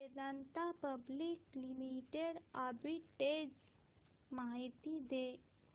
Vedanta public limited arbitrage माहिती दे